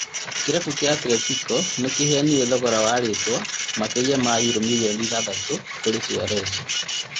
Kĩrabu kĩa Atletico nĩrarĩhire thogora wa rĩtwa makĩria ma yuro mirioni ithathatũ kũrĩ Suarez